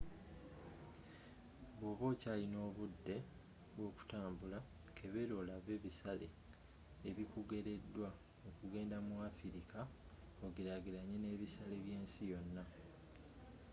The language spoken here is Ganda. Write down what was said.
bwoba okyalina obudde bw'okutambula kebeera olabe ebisale ebikugereddwa okugenda mu afirika ogerageranye n'ebisale by'ensi yonna